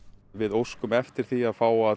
við óskum eftir því að fá að